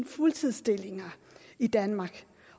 fuldtidsstillinger i danmark